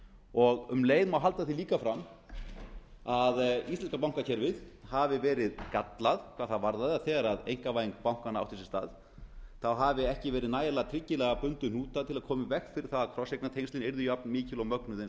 og um leið mál aðila halda því fram að íslenska bankakerfið hafi verið gallað hvað það varðaði að þegar einkavæðing bankanna átti sér stað hafi ekki verið nægilega tryggilega bundið um hnúta til að koma í veg fyrir að krosseignatengslin yrðu jafnmikil og mögnuð eins og